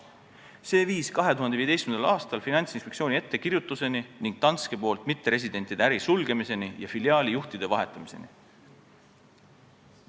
See viis 2015. aastal Finantsinspektsiooni ettekirjutuseni ning Danskes mitteresidentide äri sulgemiseni ja filiaali juhtide vahetamiseni.